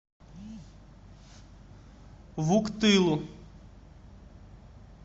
вуктылу